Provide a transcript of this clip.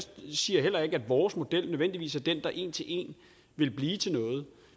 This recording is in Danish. siger heller ikke at vores model nødvendigvis er den der en til en vil blive til noget